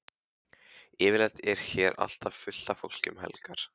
Yfirleitt er hér alltaf fullt af fólki um helgar.